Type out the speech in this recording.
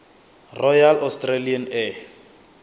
royal australian air